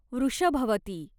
Vrishabhavati